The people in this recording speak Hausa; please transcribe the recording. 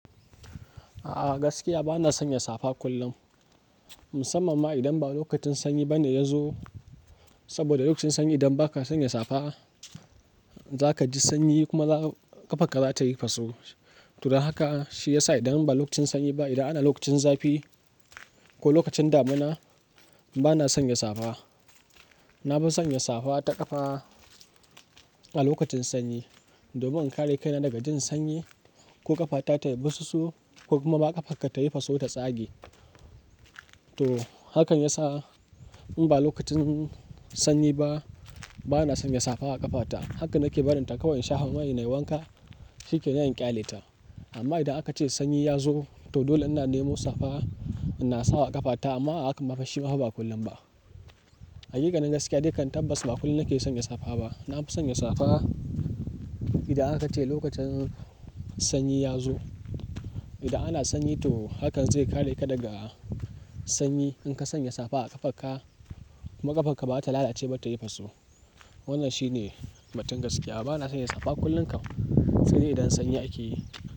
A'a gaskiya bana sanya safa kullum, musamman ma idan ba lokacin sanyi bane ya zo. Saboda lokacin sanyi idan ba ka sanya safa, za ka ji sanyi kuma ƙafarka za ta yi faso. To don haka shi ya sa idan ba lokacin sanyi ba, idan ana lokacin zafi ko lokacin damina, bana sanya safa. Na fi sanya safa ta ƙafa a lokacin sanyi, domin in kare kaina daga jin sanyi ko ƙafata ta yi bususu ko kuma ƙafarka ta yi faso ta tsage. To hakan ya sa in ba lokacin sanyi ba, bana sanya safa a ƙafata. Haka nake barin ta kawai shafa mai nayi wanka, shi ke nan in ƙyale ta. Amma idan aka ce sanyi ya zo, to dole ina nemo safa ina sawa ƙafata amma hakan ma fa shi ma ba kullum ba. Hakikanin gaskiya dai kan tabbas ba kullum nake sanya safa ba. Na fi sanya safa idan aka ce lokacin sanyi ya zo. Idan ana sanyi to hakan zai kare ka daga sanyi. In ka sanya safa a ƙafarka, ma ƙafarka badata lalace ba ta yi faso. Wannan shi ne batun gaskiya. Bana sanya safa kullum kam, sai de idan sanyi ake yi.